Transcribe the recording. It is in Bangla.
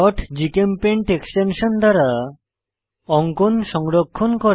gchempaint এক্সটেনশন দ্বারা অঙ্কন সংরক্ষণ করা